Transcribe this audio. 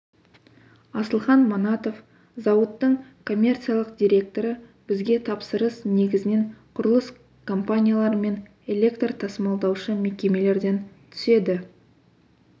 асылхан манатов зауыттың коммерциялық директоры бізге тапсырыс негізінен құрылыс компаниялары мен электр тасымалдаушы мекемелерден түседі